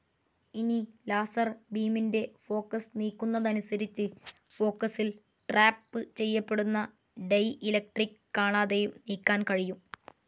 ഇനി, ലാസർ ബീമിൻ്റെ ഫോക്കസ്‌ നീക്കുന്നതനുസരിച്ചു, ഫോക്കസിൽ ട്രാപ്പ്‌ ചെയ്യപ്പെടുന്ന ഡയലക്ട്രിക്‌ കാണാതെയും നീക്കാൻ കഴിയും.